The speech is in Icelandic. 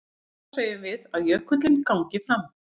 Þá segjum við að jökullinn gangi fram.